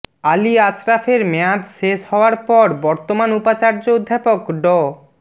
আলী আশরাফের মেয়াদ শেষ হওয়ার পর বর্তমান উপাচার্য অধ্যাপক ড